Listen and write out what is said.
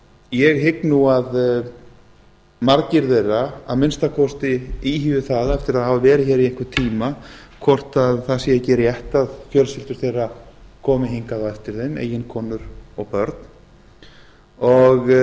ég hygg nú að margir þeirra að minnsta kosti íhugi það eftir að hafa verið hér í einhvern tíma hvort það sé ekki rétt að fjölskyldur þeirra komi hingað eftir þeim eiginkonur og börn þar af